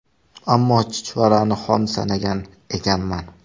Ammo chuchvarani xom sanagan ekanman.